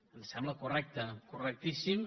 ens sembla correcte correctíssim